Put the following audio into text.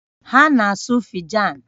Ha na-asu Fijan